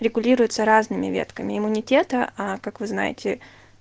регулируется разными ветками иммунитета а как вы знаете